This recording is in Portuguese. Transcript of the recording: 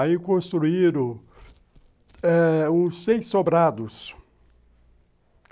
Aí construíram os seis sobrados.